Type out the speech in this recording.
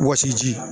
Wɔsiji